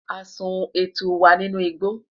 a sùn etu wa ninú igbo